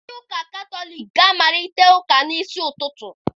Ndị ụka katọliki ga-amalite ụka n'isi ụtụtụ.